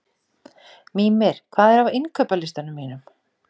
Mímir, hvað er á innkaupalistanum mínum?